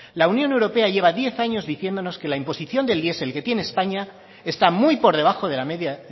la unión europea lleva diez años diciéndonos que la imposición del diesel que tiene españa está muy por debajo de la media